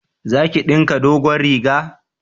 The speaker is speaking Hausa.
Za ki dinka dogon riga?